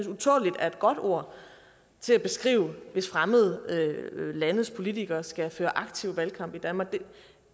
godt ord til at beskrive hvis fremmede landes politikere skal føre aktiv valgkamp i danmark